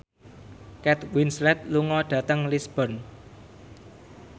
Kate Winslet lunga dhateng Lisburn